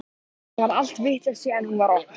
Það er allt vitlaust síðan hún var opnuð.